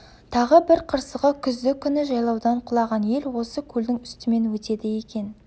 тағы бір қырсығы күзді күні жайлаудан құлаған ел осы көлдің үстімен өтеді екен